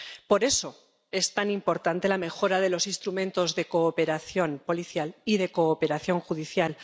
Por eso es tan importante la mejora de los instrumentos de cooperación policial y de cooperación judicial.